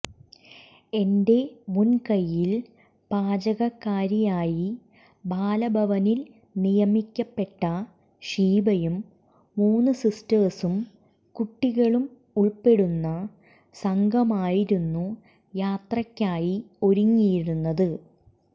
എന്റെ മുൻകൈയിൽ പാചകക്കാരിയായി ബാലഭവനിൽ നിയമിക്കപ്പെട്ട ഷീബയും മൂന്ന് സിസ്റ്റേഴ്സും കുട്ടികളും ഉൾപ്പെടുന്ന സംഘമായിരുന്നു യാത്രയ്ക്കായി ഒരുങ്ങിയിരുന്നത്